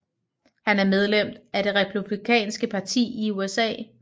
Han er medlem af det republikanske parti i USA